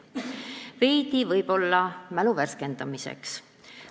Veidi võib-olla mälu värskendamiseks.